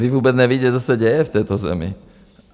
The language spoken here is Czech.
Vy vůbec nevíte, co se děje v této zemi.